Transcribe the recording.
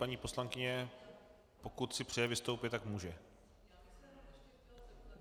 Paní poslankyně, pokud si přeje vystoupit, tak může.